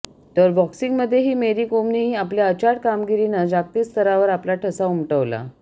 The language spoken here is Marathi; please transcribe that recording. तर बॉक्सिंमध्येही मेरी कोमनंही आपल्या अचाट कामगिरीनं जागतिक स्तरावर आपला ठसा उमटवला